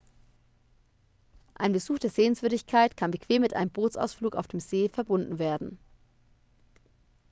ein besuch der sehenswürdigkeit kann bequem mit einem bootsausflug auf dem see verbunden werden